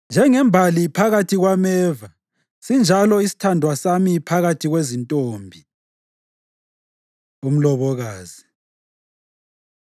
Njengembali phakathi kwameva sinjalo isithandwa sami phakathi kwezintombi. Umlobokazi